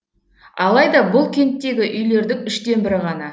алайда бұл кенттегі үйлердің үштен бірі ғана